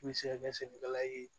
I bɛ se ka kɛ sɛnɛkɛla ye